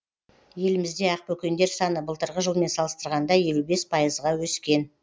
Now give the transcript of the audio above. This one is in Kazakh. елімізде ақбөкендер саны былтырғы жылмен салыстырғанда елу бес пайызға өскен